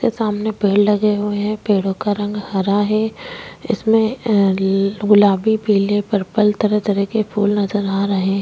यहाँ सामने पेड़ लगे हुए हैं पेड़ का रंग हरा है अ इसमें गुलाबी पीले पर्पल तरह-तरह के फूल नज़र आ रहे हैं।